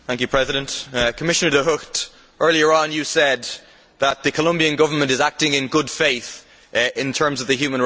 Commissioner De Gucht, earlier on you said that the Colombian Government was acting in good faith in the human rights field.